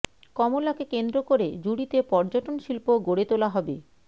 কমলাকে কেন্দ্র করে জুড়ীতে পর্যটন শিল্প গড়ে তোলা হবে